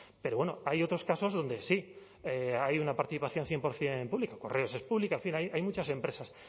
pero bueno hay otros casos donde sí hay una participación cien por ciento público correos es pública en fin hay muchas empresas